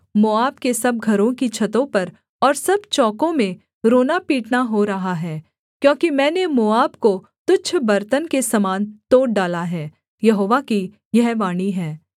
मोआब के सब घरों की छतों पर और सब चौकों में रोना पीटना हो रहा है क्योंकि मैंने मोआब को तुच्छ बर्तन के समान तोड़ डाला है यहोवा की यह वाणी है